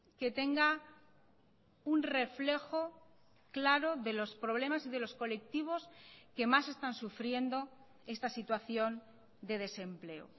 que tenga un reflejo claro de los problemas y de los colectivos que más están sufriendo esta situación de desempleo